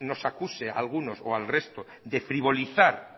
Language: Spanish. nos acuse a algunos o al resto de frivolizar